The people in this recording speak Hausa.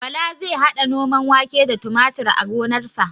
Bala zai haɗa noman wake da tumatir a gonarsa